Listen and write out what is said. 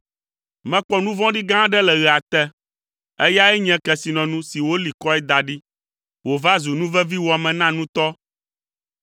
Mekpɔ nu vɔ̃ɖi gã aɖe le ɣea te: eyae nye kesinɔnu si woli kɔe da ɖi wòva zu nuveviwɔame na nutɔ